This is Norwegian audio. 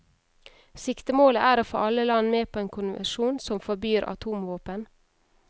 Siktemålet er å få alle land med på en konvensjon som forbyr atomvåpen.